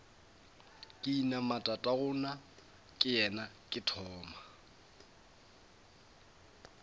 ka inama tatagonakeyena ke thoma